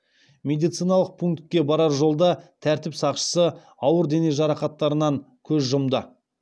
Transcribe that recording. медициналық пунктке барар жолда тәртіп сақшысы ауыр дене жарақаттарынан көз жұмды